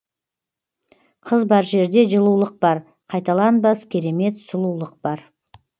қыз бар жерде жылулық бар қайталанбас керемет сұлулық бар